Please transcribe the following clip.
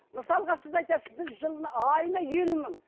мысалға біз айтасыз біз жылына айына елу мың